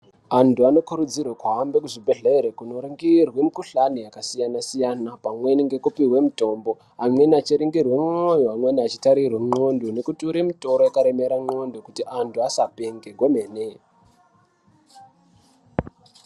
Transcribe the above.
Antu anokurudzirwe kuhambe kuzvibhedhlere kunoringirwe mikhuhlani yakasiyana-siyana ,pamweni ngekupihwe mitombo, amweni achiringirwe mwoyo, amweni achitarirwe ndxondo, achiture mitoro yakaremera ndxondo kuti anhu asapenge kwemene.